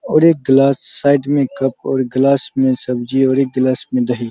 और एक glass side में कप और ग्लास मे सब्ज़ी और एक ग्लास मे दही --